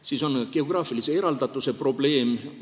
Siis on geograafilise eraldatuse probleem.